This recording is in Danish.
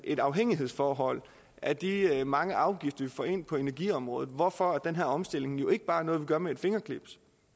et afhængighedsforhold af de mange afgifter vi får ind på energiområdet hvorfor den her omstilling ikke bare er noget vi gør med et fingerknips